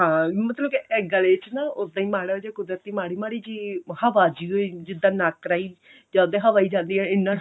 ਹਾਂ ਮਤਲਬ ਕੇ ਇਹ ਗਲੇ ਚ ਨਾ ਉੱਦਾਂ ਹੀ ਮਾੜਾ ਜਾ ਕੁਦਰਤੀ ਮਾੜੀ ਮਾੜੀ ਜੀ ਹਵਾ ਜੀਓ ਜਿਦਾਂ ਨੱਕ ਰਾਹੀਂ ਚੱਲਦੀ ਹਵਾ ਹੀ ਜਾਂਦੀ ਏ ਇੰਨਾ